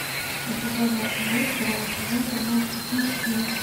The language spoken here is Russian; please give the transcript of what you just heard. эпизод двадцать девять первого сезона тринадцать причин почему